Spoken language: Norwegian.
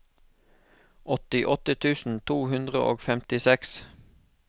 åttiåtte tusen to hundre og femtiseks